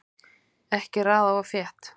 Ekki raða of þétt